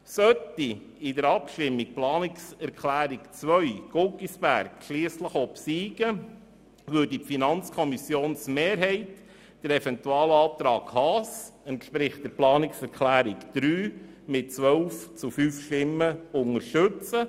Sollte in der Abstimmung die Planungserklärung 2 Guggisberg obsiegen, würde die Mehrheit der FiKo den Eventualantrag Haas, welcher der Planungserklärung 3 entspricht, mit 12 zu 5 Stimmen unterstützen.